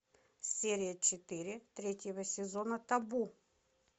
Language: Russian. серия четыре третьего сезона табу